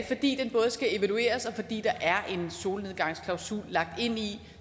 fordi den både skal evalueres og fordi der er en solnedgangsklausul lagt ind i